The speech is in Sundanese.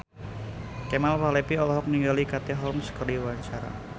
Kemal Palevi olohok ningali Katie Holmes keur diwawancara